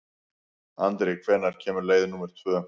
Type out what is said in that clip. Andri, hvenær kemur leið númer tvö?